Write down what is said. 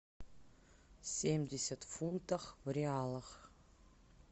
семьдесят фунтов в реалах